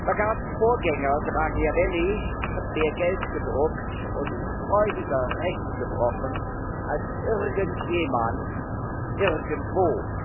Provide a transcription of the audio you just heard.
Lagardes Vorgänger, Draghiavelli, hat mehr Geld gedruckt und freudiger Recht gebrochen als irgendjemand irgendwo.